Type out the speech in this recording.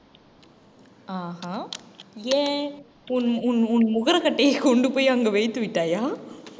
ஆஹான் ஏன் உன் உன் உன் முகரக்கட்டையை கொண்டு போய் அங்கு வைத்து விட்டாயா